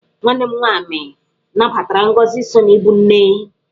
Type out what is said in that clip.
Nwa m nwaanyị nabatara ngọzị so n'ibụ nne.